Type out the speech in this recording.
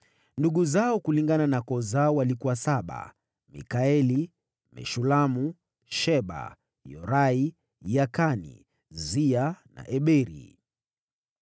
Ndugu zao kulingana na koo zao walikuwa saba: Mikaeli, Meshulamu, Sheba, Yorai, Yakani, Zia na Eberi.